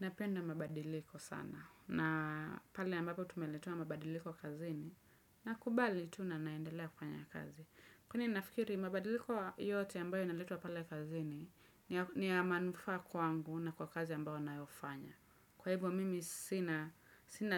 Napenda mabadiliko sana na pale ambapo tumeletewa mabadiliko kazini nakubali tu na naendelea kufanya kazi. Kwani nafikiri mabadiliko yote ambayo inaletwa pale kazini ni ya manufaa kwangu na kwa kazi ambayo nayofanya. Kwa hivyo mimi sina